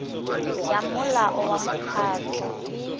ya molao wa mekgatlho e